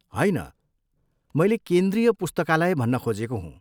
होइन, मैले केन्द्रीय पुस्तकालय भन्न खोजेको हुँ।